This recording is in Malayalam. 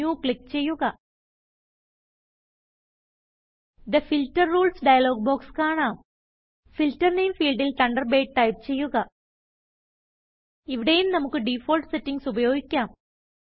ന്യൂ ക്ലിക്ക് ചെയ്യുക the filter rules dialog box കാണാം ഫിൽട്ടർ നാമെ ഫീൽഡിൽ തണ്ടർബേർഡ് ടൈപ്പ് ചെയ്യുക ഇവിടെയും നമുക്ക് ഡിഫാൾട്ട് സെറ്റിംഗ്സ് ഉപയോഗിക്കാം